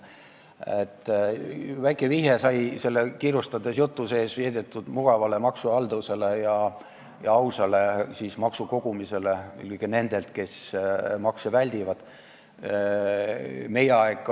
Väike vihje sai selle kiirustades esitatud jutu sees tehtud mugavale maksuhaldusele ja ausale maksukogumisele, eelkõige kogumisele nendelt, kes makse väldivad.